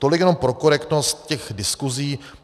Tolik jenom pro korektnost těch diskusí.